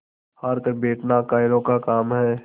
हार कर बैठना कायरों का काम है